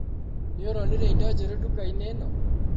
Nĩũronire indo njerũ ndukainĩ ĩno?